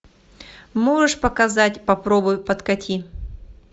можешь показать попробуй подкати